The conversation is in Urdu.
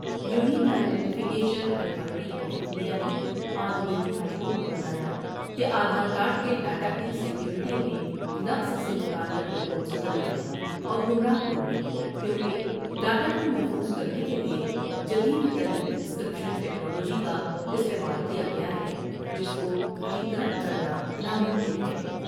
Unique identification authority of India نے آج دہلی ہائی کورٹ کو بتایا کہ آدھار کارڈ کے ڈاٹا کی سیکوریٹی میں نقص سے متعلق رپورٹس غلط ہیں اور گمراہ کن ہیں کیوں کہ ڈاٹا کومحفوظ کرنے کے لیے جدید ترین انسکر پیشن ٹکنالوجی کا استعمال کیا گیا ہے جس کو ڈی کر پٹ کرنا ناممکن ہے ۔